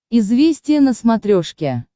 известия на смотрешке